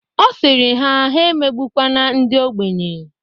Ọ sịrị ha, ha emegbukwene ndi ogbenye.